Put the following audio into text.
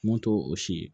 Mun t'o o si ye